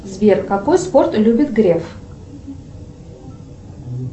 сбер какой спорт любит греф